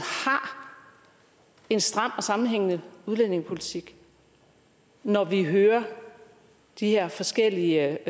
en stram og sammenhængende udlændingepolitik når vi hører de her forskellige